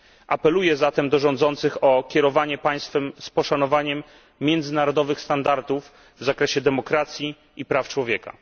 Apeluję zatem do rządzących o kierowanie państwem z poszanowaniem międzynarodowych standardów w zakresie demokracji i praw człowieka.